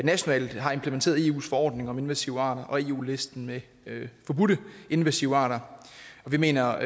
nationalt har implementeret eus forordning om invasive arter og eu listen med forbudte invasive arter vi mener